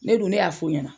Ne dun ne y'a f'u ɲɛna